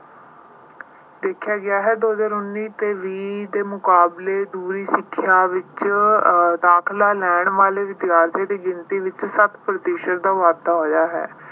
ਦੇਖਿਆ ਗਿਆ ਹੈ। ਦੋ ਹਜ਼ਾਰ ਉੱਨੀ ਤੇ ਵੀਹ ਦੇ ਮੁਕਾਬਲੇ ਦੂਰੀ ਸਿੱਖਿਆ ਵਿੱਚ ਅਹ ਦਾਖਲਾ ਲੈਣ ਵਾਲੇ ਵਿਦਿਆਰਥੀਆਂ ਦੀ ਗਿਣਤੀ ਵਿੱਚ ਸੱਤ ਪ੍ਰਤੀਸ਼ਤ ਦਾ ਵਾਧਾ ਹੋਇਆ ਹੈ।